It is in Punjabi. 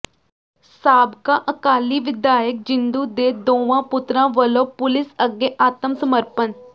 ਸਾਬਕਾ ਅਕਾਲੀ ਵਿਧਾਇਕ ਜਿੰਦੂ ਦੇ ਦੋਵਾਂ ਪੁੱਤਰਾਂ ਵਲੋਂ ਪੁਲਿਸ ਅੱਗੇ ਆਤਮ ਸਮਰਪਣ